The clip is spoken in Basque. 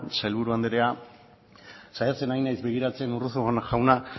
sailburu andrea saiatzen ari naiz begiratzen urruzuno jauna